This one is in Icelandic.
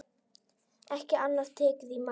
Ekki annað tekið í mál.